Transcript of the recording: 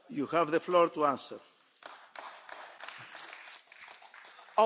Ahogy már rengeteg mindenkitől hallhattuk, tele van tényekkel az asztal.